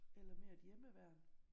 Eller mere et hjemmeværn?